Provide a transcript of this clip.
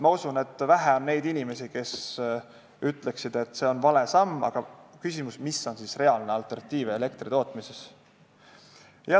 Ma usun, et on vähe neid inimesi, kes ütlevad, et see on vale samm, aga on küsimus, mis on elektritootmises siis reaalne alternatiiv.